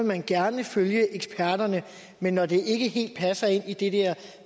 man gerne følge eksperterne men når det ikke helt passer ind i det